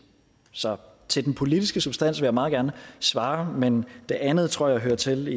så til den politiske substans vil jeg meget gerne svare men det andet tror jeg hører til